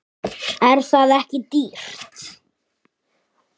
Er það ekki dýrt?